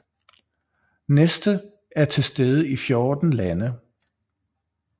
Neste er tilstede i 14 lande